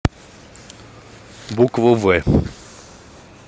букву в